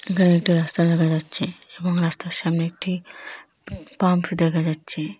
এখানে একটা রাস্তা দেখা যাচ্ছে এবং রাস্তার সামনে একটি পাম্প দেখা যাচ্ছে।